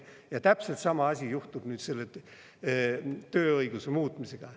Ja täpselt sama asi juhtub nüüd selle tööõiguse muutmisega.